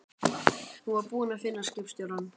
Hún var búin að finna skipstjórann.